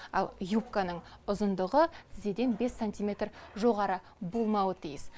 ал юбканың ұзындығы тізеден бес сантиметр жоғары болмауы тиіс